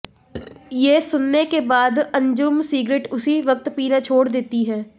ये सुनने के बाद अंजुम सिगरेट उसी वक्त पीना छोड़ देती हैं